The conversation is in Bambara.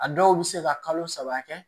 A dɔw bɛ se ka kalo saba kɛ